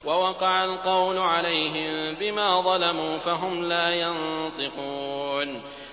وَوَقَعَ الْقَوْلُ عَلَيْهِم بِمَا ظَلَمُوا فَهُمْ لَا يَنطِقُونَ